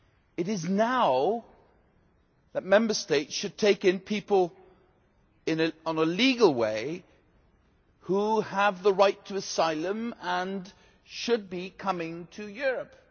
It is now that Member States should take in people in a legal way, those who have the right to asylum and should be coming to Europe.